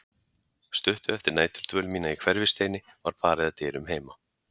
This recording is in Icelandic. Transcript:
Stuttu eftir næturdvöl mína í Hverfisteini var barið að dyrum heima.